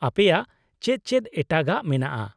-ᱟᱯᱮᱭᱟᱜ ᱪᱮᱫ ᱪᱮᱫ ᱮᱴᱟᱜᱟᱜ ᱢᱮᱱᱟᱜᱼᱟ ?